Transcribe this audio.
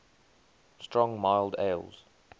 strong mild ales